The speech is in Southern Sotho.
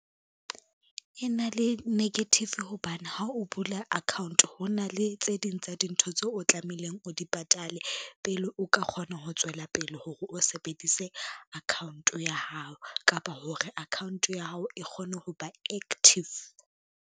E na le negative hobane ha o bula account, ho na le tse ding tsa dintho tseo o tlamehileng o di patale pele o ka kgona ho tswela pele hore o sebedise account ya hao, kapa hore account ya hao e kgone ho ba active.